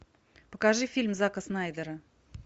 покажи фильм зака снайдера